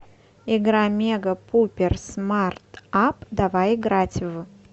игра мегапуперсмартапп давай играть в